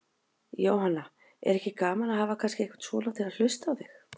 Jóhanna: Er ekki gaman að hafa kannski einhvern svona til að hlusta á þig?